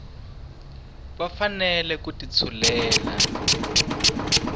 va fanele ku ti tshulela